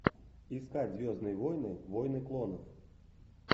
искать звездные войны войны клонов